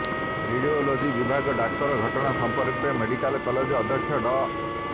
radiology ବିଭାଗ ଡାକ୍ତର ଘଟଣା ସମ୍ପର୍କରେ ମେଡିକାଲ କଲେଜ ଅଧ୍ୟକ୍ଷ ଡ